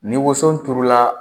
Ni woso turula